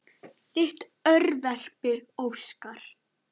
Þitt örverpi Óskar.